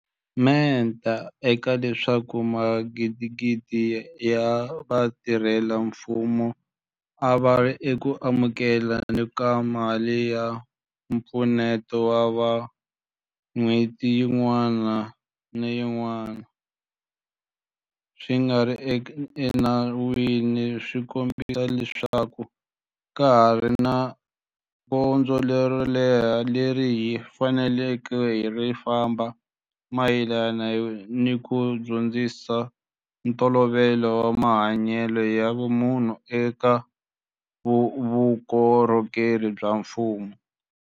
Menta ka leswaku magidigidi ya vatirhela mfumo a va ri eku amukele ni ka mali ya mpfuneto wa vanhu n'hweti yin'wana ni yin'wana swi nga ri enawini swi kombisa leswaku ha ha ri ni gondzo ro leha leri hi faneleke ku ri famba mayelana ni ku dyondzisa ntolovelo wa mahanyelo ya vumunhu eka vukorhokeri bya mfumo.